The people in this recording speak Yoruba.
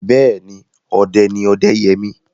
Bẹ́ẹ̀ni, ọdẹ ni Ọdẹ́yẹmí.